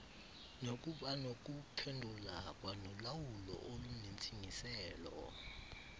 nokubanokuphendula kwanolawulo olunentsingiselo